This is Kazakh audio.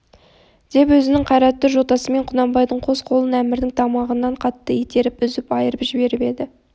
деп өзінің қайратты жотасымен құнанбайдың қос қолын әмірдің тамағынан қатты итеріп үзіп айырып жіберіп еді